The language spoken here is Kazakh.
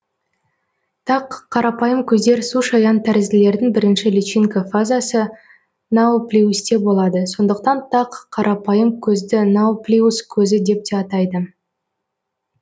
тақ қарапайым көздер сушаян тәрізділердің бірінші личинка фазасы науплиусте болады сондықтан тақ қарапайым көзді науплиус көзі деп те атайды